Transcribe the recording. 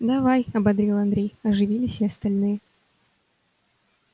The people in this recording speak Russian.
давай ободрил андрей оживились и остальные